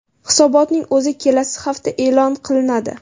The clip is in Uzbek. Hisobotning o‘zi kelasi hafta e’lon qilinadi.